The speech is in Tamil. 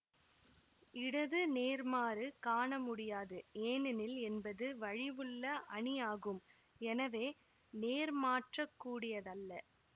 இடது நேர்மாறு காண முடியாது ஏனெனில் என்பது வழிவுள்ள அணி ஆகும் எனவே நேர்மாற்றக்கூடியதல்ல